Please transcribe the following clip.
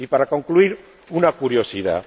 Y para concluir, una curiosidad.